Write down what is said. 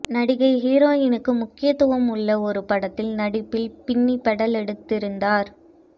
நடிகை ஹீரோயினுக்கு முக்கியத்துவம் உள்ள ஒரு படத்தில் நடிப்பில் பின்னி பெடல் எடுத்திருந்தார்